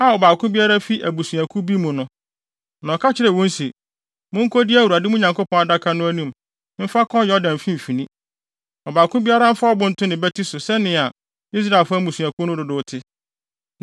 na ɔka kyerɛɛ wɔn se, “Munkodi Awurade, mo Nyankopɔn, adaka no anim mfa nkɔ Yordan mfimfini. Ɔbaako biara mfa ɔbo nto ne bati so sɛnea Israelfo mmusuakuw no dodow te,